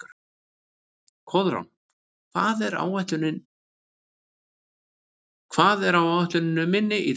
Koðrán, hvað er á áætluninni minni í dag?